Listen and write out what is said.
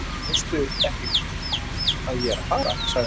Veistu ekki að ég er að fara? sagði hann.